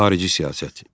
Xarici siyasət.